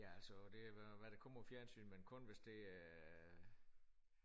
Ja altså det hvad hvad der kommer i fjernsynet men kun hvis det er